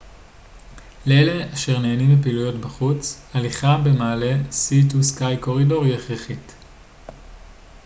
לאלה אשר נהנים מפעילויות חוץ הליכה במעלה סי טו סקיי קורידור היא הכרחית